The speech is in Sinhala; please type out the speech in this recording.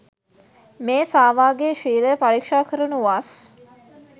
මේ සාවාගේ ශීලය පරීක්ෂා කරනු වස්